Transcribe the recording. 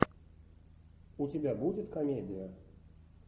у тебя будет комедия